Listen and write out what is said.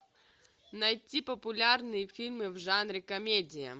найти популярные фильмы в жанре комедия